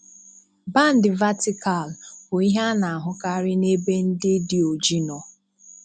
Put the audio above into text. Bándị̀ vátịkàlụ̀ bụ̀ ïhé á nà-àhụ́kárị́ n'ébé ndị́ dị òjí nọ̀